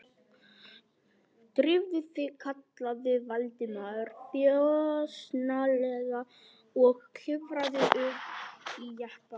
Drífðu þig- kallaði Valdimar þjösnalega og klifraði upp í jeppann.